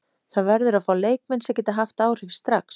Það verður að fá leikmenn sem geta haft áhrif strax.